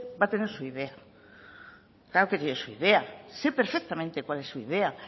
va a tener su idea claro que tiene su idea sé perfectamente cuál es su idea